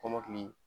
Kɔmɔkili